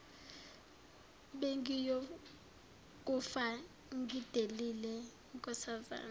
bengiyokufa ngidelile nkosazana